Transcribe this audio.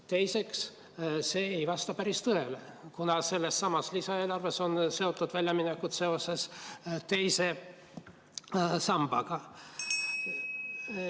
Teiseks, see ei vasta päris tõele, kuna sellessamas lisaeelarves on väljaminekud seoses teise pensionisambaga.